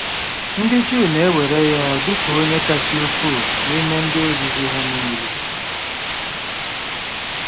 Ndị Juu na-ewere ya dị ka onye kasị ukwuu n'ime ndị ozizi ha nile.